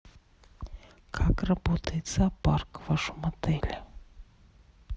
как работает зоопарк в вашем отеле